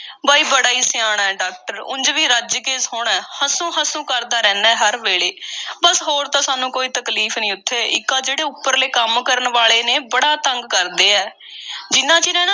ਬਈ ਬੜਾ ਈ ਸਿਆਣਾ ਏ, ਡਾਕਟਰ। ਉਂਝ ਵੀ ਰੱਜ ਕੇ ਸੋਹਣਾ ਏ, ਹਸੂੰ-ਹਸੂੰ ਕਰਦਾ ਰਹਿੰਦਾ ਏ ਹਰ ਵੇਲੇ। ਬੱਸ ਹੋਰ ਤਾਂ ਸਾਨੂੰ ਕੋਈ ਤਕਲੀਫ਼ ਨਹੀਂ ਉੱਥੇ, ਇੱਕ ਇਹ ਜਿਹੜੇ ਉੱਪਰਲੇ ਕੰਮ ਕਰਨ ਵਾਲੇ ਨੇ, ਬੜਾ ਤੰਗ ਕਰਦੇ ਐ। ਜਿੰਨਾ ਚਿਰ ਇਹਨਾਂ